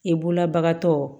I bolobagatɔ